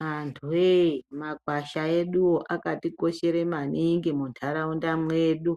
Vantuwe makwasha eduwo akatikoshere maningi mundaraunda mwedu